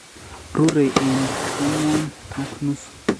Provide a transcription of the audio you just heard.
rurei eng' ang'wan ak nusu.